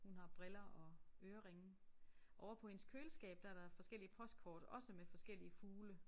Hun har briller og øreringe. Ovre på hendes køleskab der er der forskellige postkort også med forskellige fugle